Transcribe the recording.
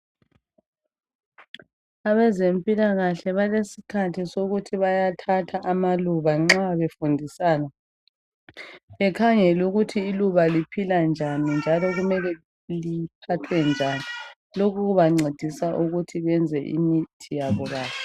abezempilakahle balesikhathi sokuthi bayathatha amaluba nxa befundisana bekhangele ukuthi iluba liphila njani njalo kumele liphathwe njani lokhu kubancedisa ukuthi benze imithi yabo kahle